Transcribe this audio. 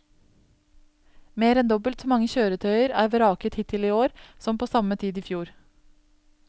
Mer enn dobbelt så mange kjøretøyer er vraket hittil i år som på samme tid i fjor.